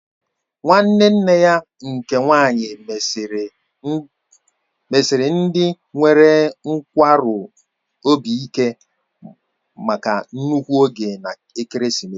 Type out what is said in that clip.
Nwanne nne ya nke nwaanyị mesiri ndị nwere nkwarụ obi ike maka nnukwu ego na ekeresimesi